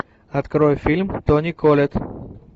открой фильм тони коллетт